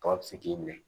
Tɔw bɛ se k'i minɛ